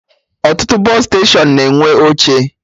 Ọtụtụ bọsụ steshọnụ na-enwe oche